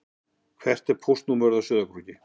Hvert er póstnúmerið á Sauðárkróki?